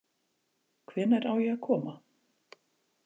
Hvenær á ég að koma?